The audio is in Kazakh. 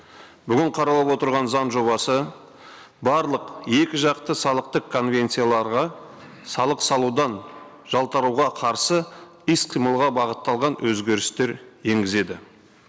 бүгін қаралып отырған заң жобасы барлық екіжақты салықтық конвенцияларға салық салудан жалтаруға қарсы іс қимылға бағытталған өзгерістер енгізеді